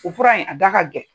O fura in a da ka gɛlɛn.